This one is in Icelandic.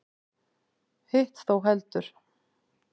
Hitt þó heldur.